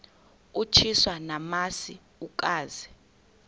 utyiswa namasi ukaze